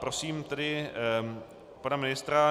Prosím tedy pana ministra.